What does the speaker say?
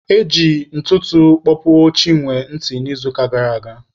E ji ntụtụ kpọpuo Chinwe ntị n'izuụka gara aga.